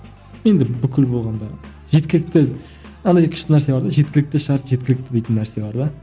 енді бүкіл болғанда жеткілікті андай күшті нәрсе бар да жеткілікті шарт жеткілікті дейтін нәрсе бар да